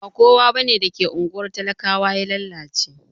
Ba kowa da ke ungwar talakawa bane ya lallace.